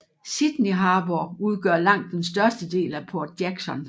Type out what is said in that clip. Sydney Harbour udgør langt den største del af Port Jackson